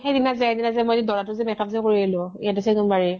সেইদিনা যে সেইদিনা যে মই যে দৰা টোৰ make-up যে কৰি আহিলোঁ ইয়াতে চেগুনবাঢৰি